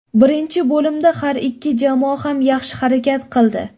Birinchi bo‘limda har ikki jamoa ham yaxshi harakat qildi.